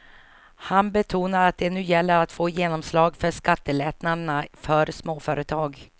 Han betonar att det nu gäller att få genomslag för skattelättnaderna för småföretag.